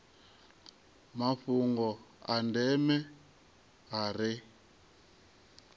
mafhungo a ndeme a re